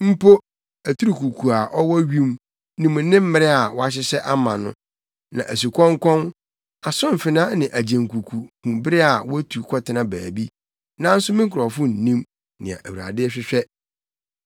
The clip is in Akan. Mpo aturukuku a ɔwɔ wim nim ne mmere a wɔahyehyɛ ama no, na asukɔnkɔn, asomfena ne agyenkuku hu bere a wotu kɔtena baabi, nanso me nkurɔfo nnim nea Awurade hwehwɛ.